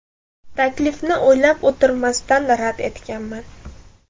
Taklifni o‘ylab o‘tirmasdan rad etganman.